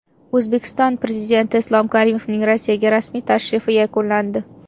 O‘zbekiston Prezidenti Islom Karimovning Rossiyaga rasmiy tashrifi yakunlandi.